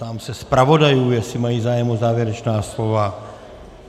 Ptám se zpravodajů, jestli mají zájem o závěrečná slova.